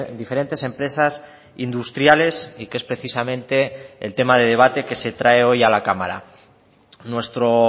diferentes empresas industriales y que es precisamente el tema de debate que se trae hoy a la cámara nuestro